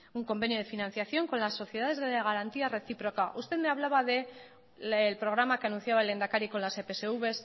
un convenio de financiación con las sociedades de garantía recíproca usted me hablaba del programa que anunciaba el lehendakari con las epsv